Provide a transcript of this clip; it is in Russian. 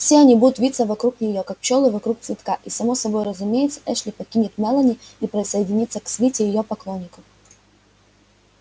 все они будут виться вокруг неё как пчёлы вокруг цветка и само собой разумеется эшли покинет мелани и присоединится к свите её поклонников